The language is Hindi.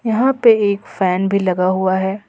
यहां पे एक फैन भी लगा हुआ है।